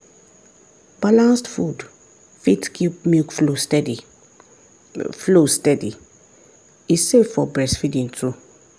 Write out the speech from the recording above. balanced food fit keep milk flow steady flow steady e safe for breastfeeding too.